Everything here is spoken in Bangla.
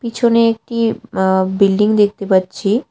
পিছনে একটি আ বিল্ডিং দেখতে পাচ্ছি।